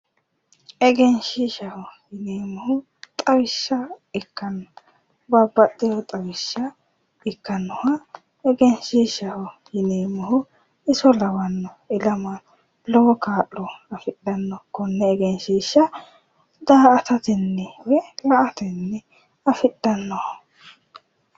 egenshiishshaho yineemmohu xawishsha ikkanna babbaxxiho xawishshira ikkannoha egenshiishshaho yineemmohu iso lawanno ilama daa''atatenni woyi la''atenni afidhannoho.